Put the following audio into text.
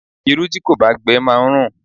Irú tí kò bá gbe máa ń rùn.